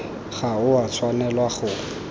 ga o a tshwanela go